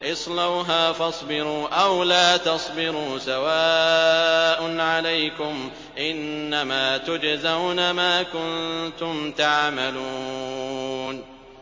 اصْلَوْهَا فَاصْبِرُوا أَوْ لَا تَصْبِرُوا سَوَاءٌ عَلَيْكُمْ ۖ إِنَّمَا تُجْزَوْنَ مَا كُنتُمْ تَعْمَلُونَ